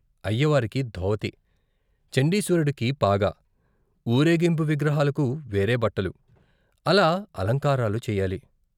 అయ్య వారికి ధోవతి, చండీశ్వరుడికి పాగా, ఊరేగింపు విగ్రహాలకు వేరే బట్టలు అలా అలంకారాలు చేయాలి.